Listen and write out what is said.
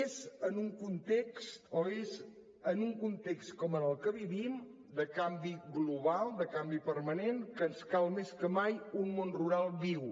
és en un context com el que vivim de canvi global de canvi permanent que ens cal més que mai un món rural viu